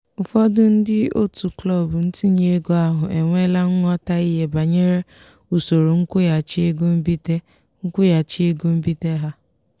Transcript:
ụfọdụ ndị otu klọb ntinye ego ahụ enweela nghọtahie banyere usoro nkwụghachi ego mbite nkwụghachi ego mbite ha.